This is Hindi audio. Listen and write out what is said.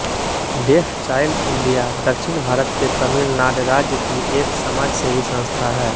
डेफ़चाइल्ड इंडिया दक्षिण भारत के तमिलनाड राज्य की एक समाजसेवी संस्था है